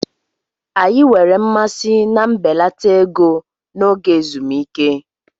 Anyị nwere mmasị na mbelata ego n'oge ezumike.